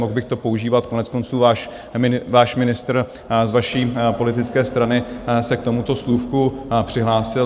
Mohl bych to používat, koneckonců váš ministr z vaší politické strany se k tomuto slůvku přihlásil.